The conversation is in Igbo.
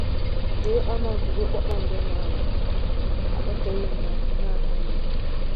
Léé ọnù̀gụ̀gụ̀ kpakpàndò na-awụ̀ àkpàtà óyì n’ahụ̀ na-àghàrà inwè!